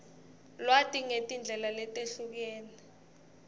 lwati ngetindlela letehlukene